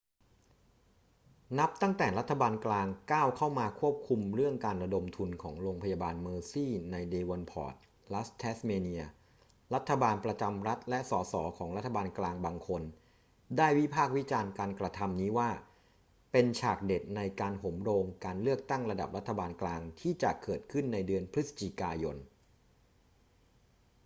นับตั้งแต่รัฐบาลกลางก้าวเข้ามาควบคุมเรื่องการระดมทุนของโรงพยาบาลเมอร์ซีย์ในเดวอนพอร์ต รัฐแทสเมเนีย รัฐบาลประจำรัฐและส ส ของรัฐบาลกลางบางคนได้วิพากษ์วิจารณ์การกระทำนี้ว่าเป็นฉากเด็ดในการโหมโรงการเลือกตั้งระดับรัฐบาลกลางที่จะเกิดขึ้นในเดือนพฤศจิกายน